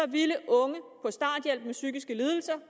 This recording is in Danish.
ville unge med psykiske lidelser